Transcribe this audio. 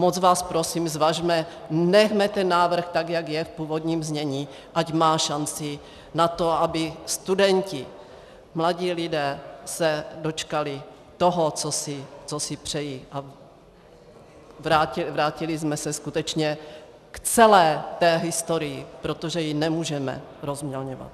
Moc vás prosím, zvažme, nechme ten návrh tak, jak je, v původním znění, ať má šanci na to, aby studenti, mladí lidé, se dočkali toho, co si přejí, a vrátili jsme se skutečně k celé té historii, protože ji nemůžeme rozmělňovat.